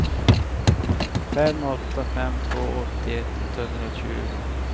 fem åtta fem två åttioett etthundratjugo